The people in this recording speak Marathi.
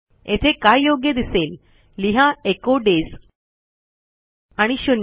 येथे काय योग्य दिसेल लिहा एचो डेज आणि शून्य